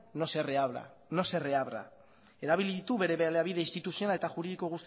no se reabra erabili ditu bere baliabide instituzional eta juridiko